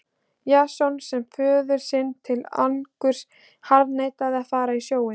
Jason sem föður sínum til angurs harðneitaði að fara á sjóinn.